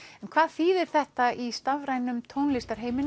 en hvað þýðir þetta í stafrænum tónlistarheimi